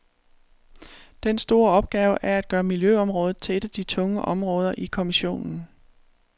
Den store opgave er at gøre miljøområdet til et af de tunge områder i kommissionen.